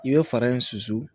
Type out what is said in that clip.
I bɛ fara in susu